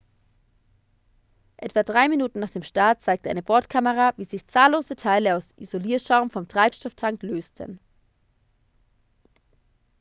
etwa 3 minuten nach dem start zeigte eine bordkamera wie sich zahllose teile aus isolierschaum vom treibstofftank lösten